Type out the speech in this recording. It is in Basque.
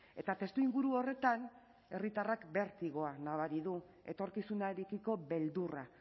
eta testuinguru horretan herritarrak bertigoa nabari du etorkizunarekiko beldurra